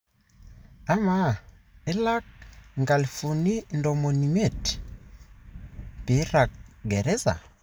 Ama ilak $250,000 pirak geraza?